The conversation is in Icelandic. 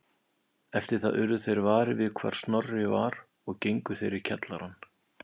Eftir það urðu þeir varir við hvar Snorri var og gengu þeir í kjallarann